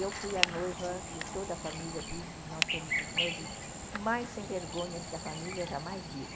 Eu fui a noiva que toda a família diz, nós somos os noivos mais sem vergonhas que a família jamais viu.